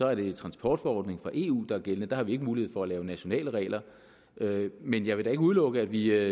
er det en transportforordning fra eu der er gældende der har vi ikke mulighed for at lave nationale regler men jeg vil da ikke udelukke at vi